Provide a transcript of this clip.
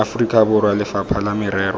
aforika borwa lefapha la merero